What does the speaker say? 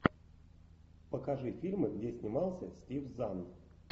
покажи фильмы где снимался стив зан